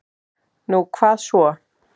Nú, hvað svo?